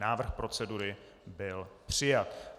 Návrh procedury byl přijat.